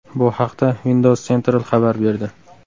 Bu haqda Windows Central xabar berdi .